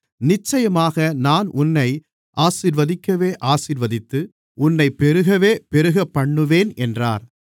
நிச்சயமாக நான் உன்னை ஆசீர்வதிக்கவே ஆசீர்வதித்து உன்னைப்பெருகவே பெருகப்பண்ணுவேன் என்றார்